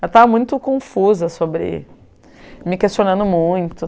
Eu estava muito confusa sobre, me questionando muito